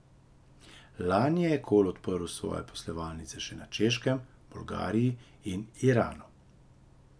Lani je Ekol odprl svoje poslovalnice še na Češkem, v Bolgariji in Iranu.